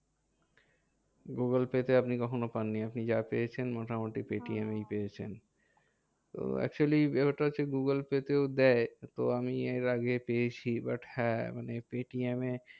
Google Pay তে আপনি কখনো পাননি। আপনি যা পেয়েছেন মোটামোটি পেইটিএমেই পেয়েছেন। তো actually এটা হচ্ছে গুগুলপে তেও দেয় তো আমি এর আগেও পেয়েছি। but হ্যাঁ মানে পেটিএমে